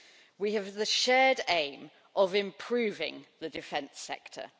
We have the shared aim of improving the defence sector.